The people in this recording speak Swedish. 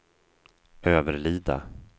Överlida